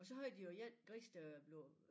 Og så havde de jo én gris der blev